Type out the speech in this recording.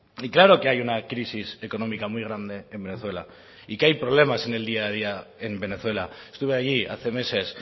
y claro que hay una crisis económica muy grande en venezuela y que hay problemas en el día a día en venezuela estuve allí hace meses